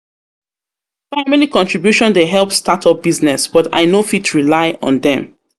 contribution dey help startup business, but I no fit rely on dem.